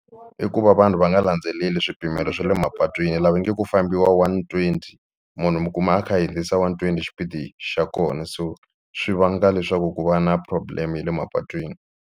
I ku va vanhu va nga landzeleli swipimelo swa le mapatwini laha va nge ku fambiwa one twenty munhu mi kuma a kha a hundzisa one twenty xipidi xa kona so swi vanga leswaku ku va na problem ya le mapatwini.